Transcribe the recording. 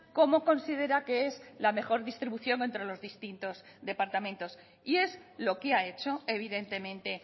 cómo considera que es la mejor distribución entre los distintos departamentos y es lo que ha hecho evidentemente